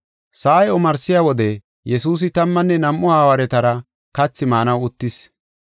Sa7ay omarsiya wode, Yesuusi tammanne nam7u hawaaretara kathi maanaw uttis.